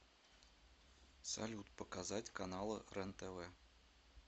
салют показать каналы рентв